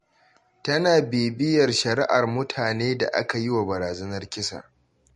Tana bibiyar shari’ar mutane da aka yi wa barazanar kisa.